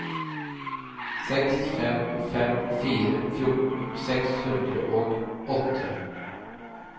seks fem fem fire fjorten seks hundre og åtte